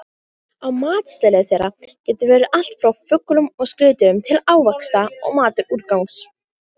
Á matseðli þeirra getur verið allt frá fuglum og skriðdýrum til ávaxta og matarúrgangs.